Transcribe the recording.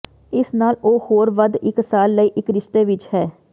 ਇਸ ਨਾਲ ਉਹ ਹੋਰ ਵੱਧ ਇੱਕ ਸਾਲ ਲਈ ਇੱਕ ਰਿਸ਼ਤੇ ਵਿੱਚ ਹੈ